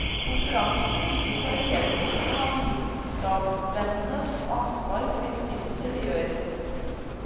Konferansene bygger på erkjennelsen av vitenskapsmenns ansvar for de oppfinnelser de gjør.